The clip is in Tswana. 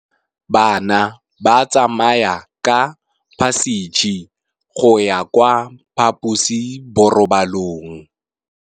Bana ba tsamaya ka phašitshe go ya kwa phaposiborobalong.